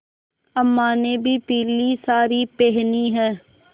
अम्मा ने भी पीली सारी पेहनी है